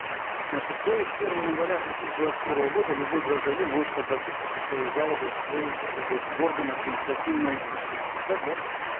значит то есть с первого января две тысячи двадцать первого года любой гражданин может обратиться со своей жалобой в свой э вот в орган административной юстиции так да